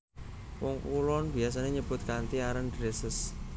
Wong Kulon biyasané nyebut kanthi aran Dresses